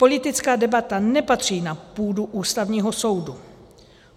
Politická debata nepatří na půdu Ústavního soudu.